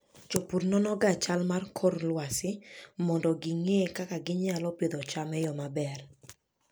Jopur nonoga chal mar kor lwasi mondo ging'e kaka ginyalo pidho cham e yo maber.